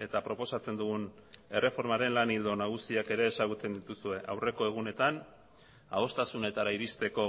eta proposatzen dugun erreformaren lan ildo nagusiak ere ezagutzen dituzue aurreko egunetan adostasunetara irizteko